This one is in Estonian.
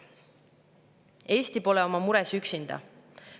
Eesti pole oma mures üksinda.